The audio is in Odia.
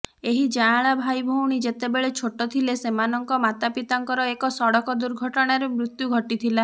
ଏହି ଯାଆଁଳା ଭାଇଭଉଣୀ ଯେତେବେଳେ ଛୋଟ ଥିଲେ ସେମାନଙ୍କ ମାତାପିତାଙ୍କର ଏକ ସଡ଼କ ଦୁର୍ଘଟଣାରେ ମୃତ୍ୟୁ ଘଟିଥିଲା